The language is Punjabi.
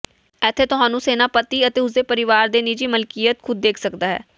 ਇੱਥੇ ਤੁਹਾਨੂੰ ਸੈਨਾਪਤੀ ਅਤੇ ਉਸ ਦੇ ਪਰਿਵਾਰ ਦੇ ਨਿੱਜੀ ਮਲਕੀਅਤ ਖ਼ੁਦ ਦੇਖ ਸਕਦਾ ਹੈ